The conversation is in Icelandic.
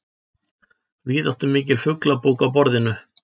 Víðáttumikil fuglabók á borðinu.